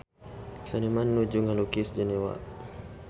Seniman nuju ngalukis Jenewa